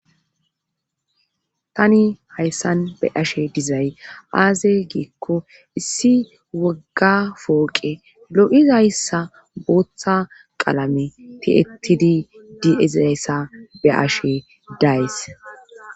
tani hayssan be' ashe dizay aaze giikko issi wogga fooqe lo7izayssa booththa qalame ti7ettidi di7ezayssa be ashe days